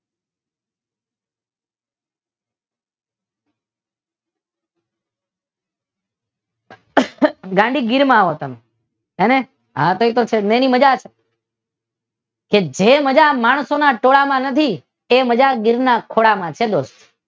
અહ ગાંડી ગીરમાં આવો તમે અને આ ફેર તો સન્ડે ની મજા છે કે જે મજા માણસોના ટોળામાં નથી તે મજા ગીરના ખોળામાં છે દોસ્ત